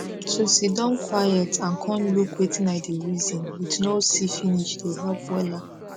to siddon quiet and con look wetin i dey reason with no see finish dey help wella